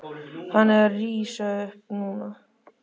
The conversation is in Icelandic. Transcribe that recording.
Hann er að rísa upp núna.